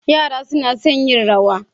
Yara suna son yin Rawa.